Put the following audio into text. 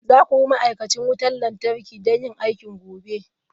Za ku bi ma'aikacin wutar lantarki don yin aiki gobe!